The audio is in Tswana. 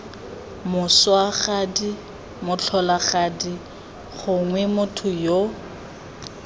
moswagadi motlholagadi gongwe motho yo